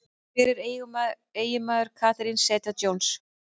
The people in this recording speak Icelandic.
Hver er eiginmaður Catherine Zeta-Jones?